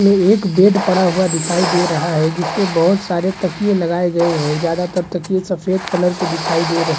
मे एक बेड पड़ा हुआ दिखाई दे रहा हैं जिसपे बहोत सारे तकिये लगाए गए हैं। ज्यादातर तकिये सफेद कलर के दिखाई दे रहे है।